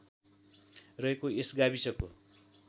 रहेको यस गाविसको